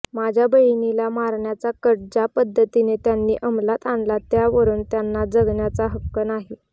माझ्या बहिणीला मारण्याचा कट ज्या पध्दतीने त्यांनी अंमलात आणला त्यावरून त्यांना जगण्याचा हक्क नाही